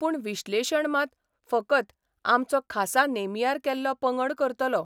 पूण विश्लेशण मात फकत आमचो खासा नेमियार केल्लो पंगड करतलो.